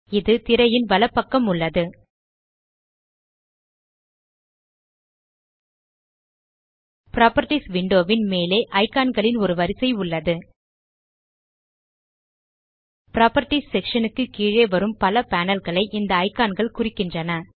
இது திரையின் வலப்பக்கம் உள்ளது புராப்பர்ட்டீஸ் விண்டோ ன் மேலே இக்கான் களின் ஒரு வரிசை உள்ளது புராப்பர்ட்டீஸ் செக்ஷன் க்கு கீழே வரும் பல பேனல் களை இந்த இக்கான் கள் குறிக்கின்றன